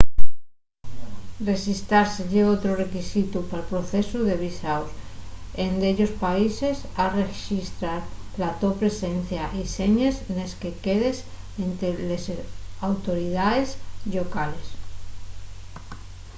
rexistrase ye otru requisitu pal procesu de visaos en dellos países has rexistrar la to presencia y señes nes que quedes énte les autoridaes llocales